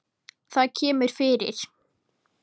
Það kemur fyrir